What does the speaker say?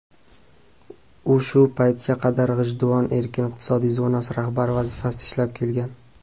U shu paytga qadar "G‘ijduvon" erkin iqtisodiy zonasi rahbari vazifasida ishlab kelgan.